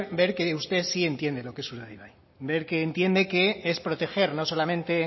ver que usted sí entiende lo que es urdaibai ver que entiende que es proteger no solamente